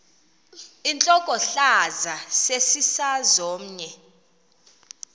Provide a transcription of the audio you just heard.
intlokohlaza sesisaz omny